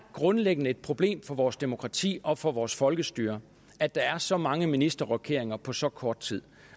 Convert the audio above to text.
grundlæggende problem for vores demokrati og for vores folkestyre at der er så mange ministerrokeringer på så kort tid